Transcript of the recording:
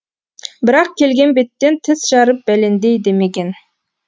бірақ келген беттен тіс жарып бәлендей демеген